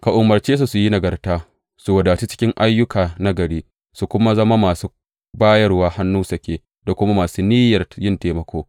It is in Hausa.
Ka umarce su su yi nagarta, su wadatu cikin ayyuka nagari, su kuma zama masu bayarwa hannu sake da kuma masu niyyar yin taimako.